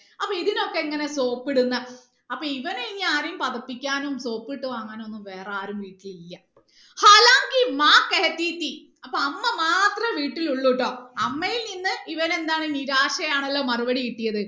അപ്പൊ ഇതിനൊക്കെ ഇങ്ങനെ സോപ്പ് ഇടുന്ന അപ്പൊ ഇവന് ഇനി ആരയും പതപ്പിക്കാനും സോപ്പിട്ട് വാങ്ങാൻ ഒന്നും വേറെ ആരും വീട്ടിലില്ല അപ്പൊ അമ്മ മാത്രമേ വീട്ടിൽ ഉള്ളൂ ട്ടോ അമ്മയിൽ നിന്ന് ഇവന് എന്താണ് നിരാശയാണല്ലോ മറുപടി കിട്ടിയത്